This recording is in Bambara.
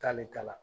K'ale ta la